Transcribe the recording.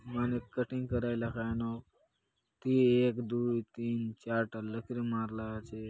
मनुख कटिंग कराय ला कायनुक एकदुय तीन चार ठन लकीर मारला आचे।